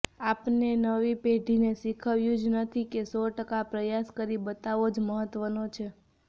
આપણે નવી પેઢીને શીખવ્યું જ નથી કે સો ટકા પ્રયાસ કરી બતાવવો જ મહત્ત્વનો છે